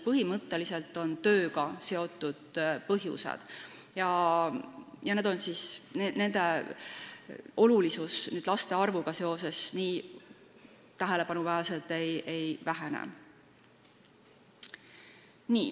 Põhimõtteliselt on need tööga seotud põhjused ja nende olulisus laste arvu suurenemisega seoses nii tähelepanuväärselt ei vähene.